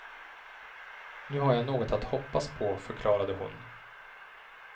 Nu har jag något att hoppas på, förklarade hon.